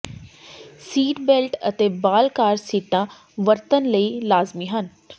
seat belt ਅਤੇ ਬਾਲ car ਸੀਟਾਂ ਵਰਤਣ ਲਈ ਲਾਜ਼ਮੀ ਹਨ